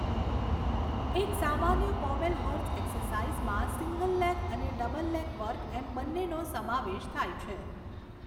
એક સામાન્ય pommel horse એક્સરસાઇઝમાં સિંગલ લેગ અને ડબલ લેગ વર્ક એમ બન્નેનો સમાવેશ થાય છે.